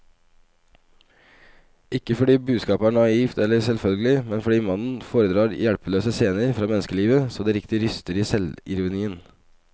Ikke fordi budskapet er naivt eller selvfølgelig, men fordi mannen foredrar hjelpeløse scener fra menneskelivet så det riktig ryster i selvironien.